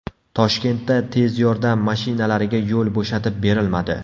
Toshkentda tez yordam mashinalariga yo‘l bo‘shatib berilmadi.